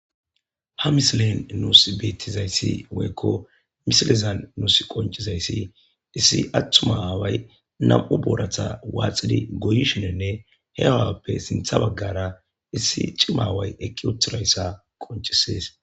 Ha misilen nuus beettizayssi woyekko misilizan nuus qoncizayssi issi attumaaaway nam7u booratha waaxidi goyi shinenne he awappe sintha baggara issi cimaway eqqi uthirayssa qoncisees.